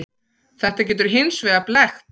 Þetta getur hins vegar blekkt.